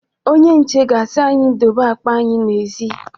Onye nche ga-asi anyị dobe akpa anyị n'èzí.